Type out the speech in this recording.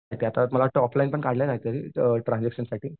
तर त्यात आता टॉपलाइन पण काढला ना ट्रांझॅक्शन साठी